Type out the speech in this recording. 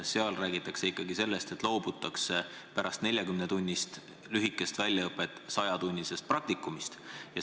Eelnõus räägitakse aga sellest, et pärast 40-tunnist lühikest väljaõpet loobutakse 100-tunnisest praktikast.